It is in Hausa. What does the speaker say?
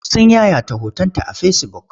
Sun yayata hotonta a fesibuk.